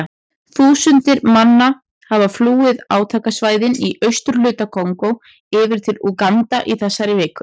Þúsundir manna hafa flúið átakasvæðin í austurhluta Kongó yfir til Úganda í þessari viku.